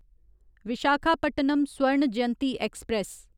Visakhapatnam Swarna Jayanti express